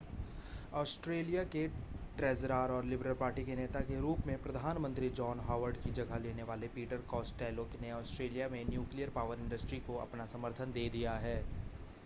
Australia के treasurer और liberal party के नेता के रूप में प्रधानमंत्री जॉन हॉवर्ड की जगह लेने वाले पीटर कास्टेलो ने ऑस्ट्रेलिया में न्यूक़्लियर पॉवर इंडस्ट्री को अपना समर्थन दे दिया है